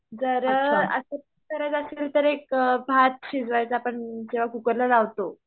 जर असंच करायचा असलाना तर एक भात शिजवायचा पण किंवा कुकरला लावतो.